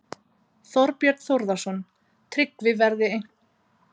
Þorbjörn Þórðarson: Tryggvi, verða einhverjar seinkanir á framkvæmd skuldaleiðréttingarinnar?